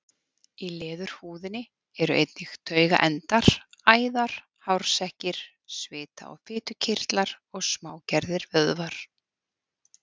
Í leðurhúðinni eru einnig taugaendar, æðar, hársekkir, svita- og fitukirtlar og smágerðir vöðvar.